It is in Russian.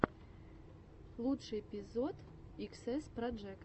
лучший эпизод иксэс проджект